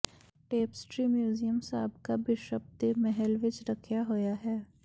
tapestry museum ਸਾਬਕਾ bishop ਦੇ ਮਹਿਲ ਵਿਚ ਰੱਖਿਆ ਹੋਇਆ ਹੈ